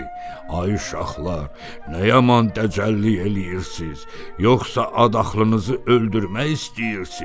Ay uşaqlar, nə yaman təcəlli eləyirsiz, yoxsa adaxlınızı öldürmək istəyirsiz?